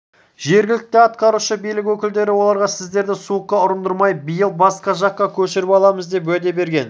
жергілікті атқарушы билік өкілдері оларға сіздерді суыққа ұрындырмай биыл басқа жаққа көшіріп аламыз деп уәде берген